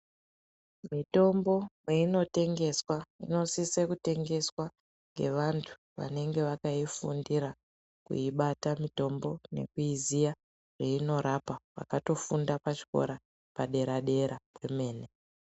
Mitombo kweinotengeswa inosise kutengeswa ngevantu vanenge vakaifundira kuibata mitombo nekuiziya zveinorapa vakatofunda pachikora padera dera pemene.